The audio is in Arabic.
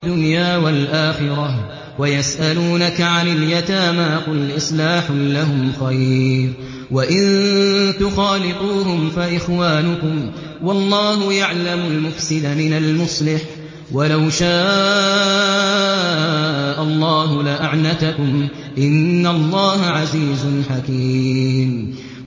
فِي الدُّنْيَا وَالْآخِرَةِ ۗ وَيَسْأَلُونَكَ عَنِ الْيَتَامَىٰ ۖ قُلْ إِصْلَاحٌ لَّهُمْ خَيْرٌ ۖ وَإِن تُخَالِطُوهُمْ فَإِخْوَانُكُمْ ۚ وَاللَّهُ يَعْلَمُ الْمُفْسِدَ مِنَ الْمُصْلِحِ ۚ وَلَوْ شَاءَ اللَّهُ لَأَعْنَتَكُمْ ۚ إِنَّ اللَّهَ عَزِيزٌ حَكِيمٌ